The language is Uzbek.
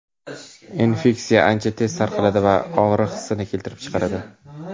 Infeksiya ancha tez tarqaladi va og‘riq hissini keltirib chiqaradi.